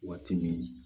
Waati min